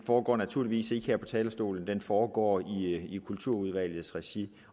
foregår naturligvis ikke her på talerstolen den foregår i kulturudvalgets regi